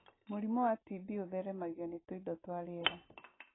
Mũrimũ wa TB ũtheremagio nĩ tũindo twa rĩera.